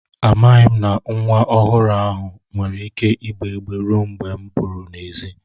Amaghị m na nwa ọhụrụ ahụ nwere ike ịgbè igbé ruo mgbe m pụru n'èzí